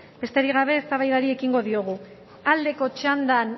besterik gabe eztabaidari ekingo diogu aldeko txandan